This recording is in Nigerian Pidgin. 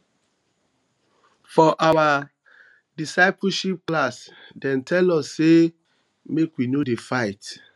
for our discipleship class dem um tell us sey make we no dey fight